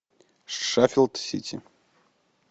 шеффилд сити